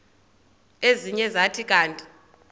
ezinye zathi kanti